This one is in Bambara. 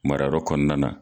Mara yɔrɔ kɔnɔna na.